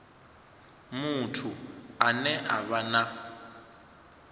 muthu ane a vha na